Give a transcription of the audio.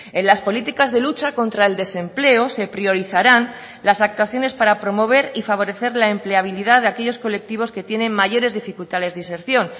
en las políticas de lucha contra el desempleo se priorizarán las actuaciones para promover y favorecer la empleabilidad de aquellos colectivos que tienen mayores dificultades de inserción